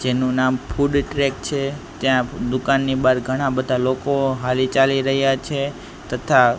જેનુ નામ food truck છે ત્યાં દુકાનની બાર ઘણા બધા લોકો હાલી ચાલી રહ્યા છે તથા--